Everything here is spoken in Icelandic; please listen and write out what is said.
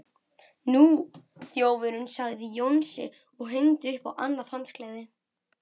Nú, þjófurinn sagði Jónsi og hengdi upp annað handklæði.